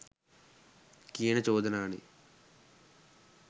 කියන චෝදනානේ.